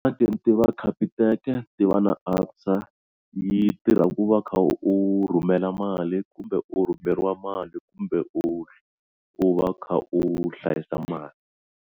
Va Capitec-e ni vona ku antswa yi tirha ku va u kha u rhumela mali kumbe u rhumeriwa mali kumbe u u va u kha u hlayisa mali.